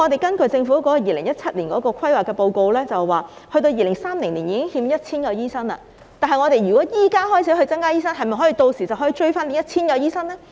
根據政府在2017年所做的規劃報告，到了2030年已欠 1,000 名醫生，即使現時開始增加培訓醫生，屆時是否可以追回 1,000 名醫生呢？